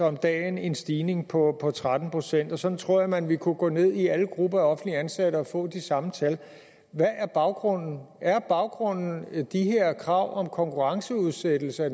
om dagen en stigning på tretten procent sådan tror jeg man vil kunne gå ned i alle grupper af offentligt ansatte og få de samme tal hvad er baggrunden er baggrunden de her krav om konkurrenceudsættelse i